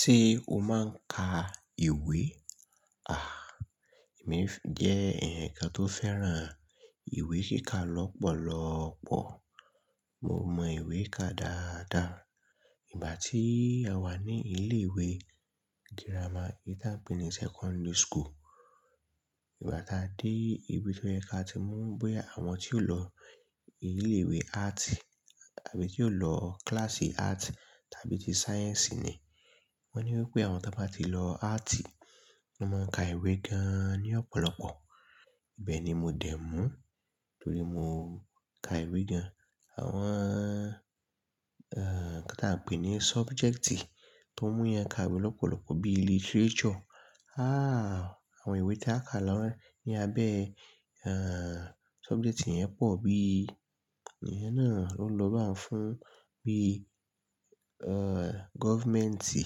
Ṣé o máa ń ka ìwé? À, èmi jẹ́ ẹ̀yàn kan tó fẹ́ràn ìwé kíka lọ́pọ̀lọ́pọ̀. Mo mọ ìwé ká dáadáa. Ìgbà tí a wà ní ilé ìwé girama eyi ta n pè ní secondary school, ìgbà tá a dé ibi tó yẹ ka ti mú bóyá àwọn tí yiò lọ ilé ìwé arts àbí tí yio lọ kíláàsì arts tàbí tí sáyẹ́ǹsì ni. Wọ́n ní wípé àwọn tí wọ́n bá ti lọ arts, wọ́n máa ń ka ìwé gan ní ọ̀pọ̀lọpọ̀. Bẹ́ẹ̀ ni mo dẹ̀ mú torí mo ka ìwé gan. Àwọn, ẹ́, nkan ta pè ní sọbùjẹ́ẹ̀tì tó mú yẹn ka ìwé lọ́pọ̀lọpọ̀ bí literature, háà àwọn ìwé tí a ka lọ́wọ́ ní abẹ́, ẹ́, sọbùjẹ́ẹ̀tì yẹn pọ̀ bí èèyàn náà o lọ báun fún bí, ẹ́, gọ́ọ̀fùmẹ́ǹtì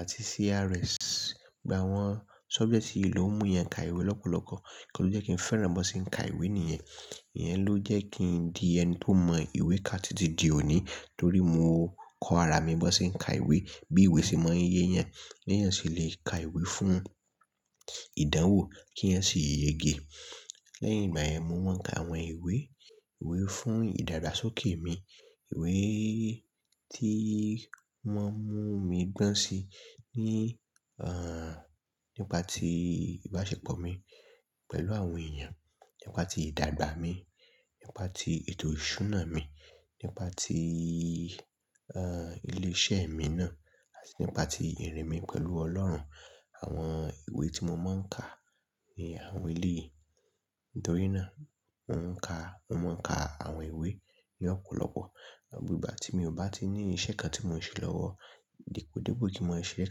àti CRS. Gbà àwọn sọbùjẹ́ẹ̀tì yìí ló ń mú yẹn ka ìwé lọ́pọ̀lọpọ̀. Nkan to jẹ́ kí n fẹ́ràn bó ṣe ń ka ìwé nìyẹn. Ìyẹn ló jẹ́ kí n di ẹni tó mọ ìwé ká títí di òní torí mo kọ ara mi bó ṣe ń ka ìwé, bí ìwé ṣe máa ń yé yan, beyan se lè ka ìwé fún ìdánwò kíyan sì yege. Lẹ́yìn ìgbà yẹn mo wọ́n ka àwọn ìwé, ìwé fún ìdagbá sókè mi, ìwé tí wọ́n mú mi gbọ́n si ní, ẹ́, nípa tí ìbáṣepọ̀ mi pẹ̀lú àwọn èèyàn, nípa tí ìdàgbà mi, nípa tí ètò ìṣúná mi, nípa tí, ẹ́, ilé iṣẹ́ mi náà àti nípa tí ìrìn mi pẹ̀lú Ọlọ́run. Àwọn ìwé tí mo máa ń ka ni àwọn eleyi nitori náà. Mo ń ka, mo máa ń ka àwọn ìwé ní ọ̀pọ̀lọpọ̀. Ìgbà tí mi ò bá ti ní iṣẹ́ kan tí mò ń ṣe lọ́wọ́, depòdepò kí mo ṣe iṣẹ́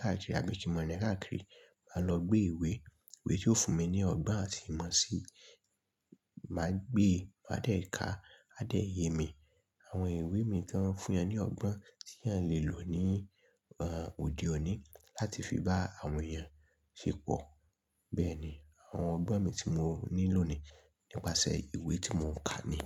káàkiri àbí kí mo ní káàkiri, máa lọ gbé ìwé, ìwé tí yóò fún mi ní ọgbọ́n àti ìmọ̀ sí má gbé, máa dẹ̀ ká, a dẹ̀ yé mi. Àwọn ìwé mi tó ń fún yan ní ọgbọ́n tí eeyan lè lò ní, ẹ́, òde òní láti fi bá àwọn èèyàn ṣépọ̀. Bẹ́ẹ̀ ni àwọn ọgbọ́n mi tí mo ní lónìí nípasẹ̀ ìwé tí mò ń ka ni.